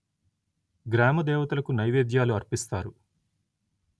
గ్రామ దేవతలకు నైవేద్యాలు అర్పిస్తారు